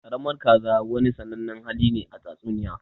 Ƙaramin kaza wani sannanen hali ne a tatsuniya.